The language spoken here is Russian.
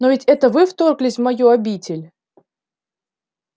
но ведь это вы вторглись в мою обитель